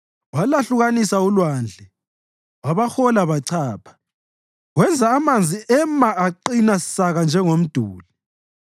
Walwahlukanisa ulwandle wabahola bachapha; wenza amanzi ema aqina saka njengomduli.